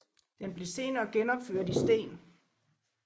Den blev senere genopført i sten